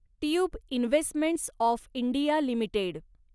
tube investments of India limited